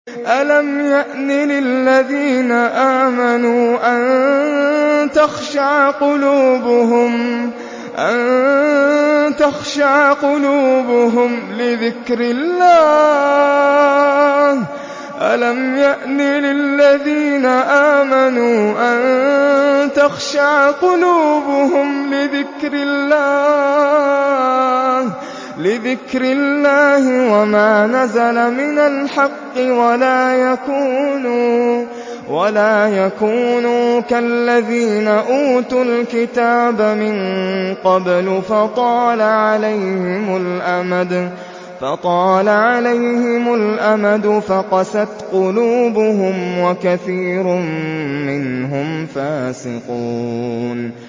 ۞ أَلَمْ يَأْنِ لِلَّذِينَ آمَنُوا أَن تَخْشَعَ قُلُوبُهُمْ لِذِكْرِ اللَّهِ وَمَا نَزَلَ مِنَ الْحَقِّ وَلَا يَكُونُوا كَالَّذِينَ أُوتُوا الْكِتَابَ مِن قَبْلُ فَطَالَ عَلَيْهِمُ الْأَمَدُ فَقَسَتْ قُلُوبُهُمْ ۖ وَكَثِيرٌ مِّنْهُمْ فَاسِقُونَ